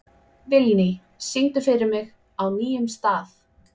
Vilný, syngdu fyrir mig „Á nýjum stað“.